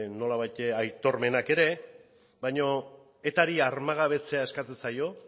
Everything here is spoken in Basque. nolabait ere aitormenak ere baina etari armagabetzea eskatzen zaio